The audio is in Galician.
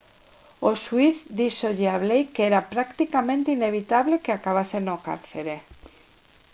o xuíz díxolle a blake que era «practicamente inevitable» que acabase no cárcere